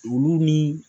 Olu ni